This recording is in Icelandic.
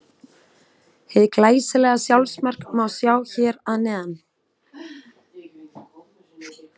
Hið glæsilega sjálfsmark má sjá hér að neðan.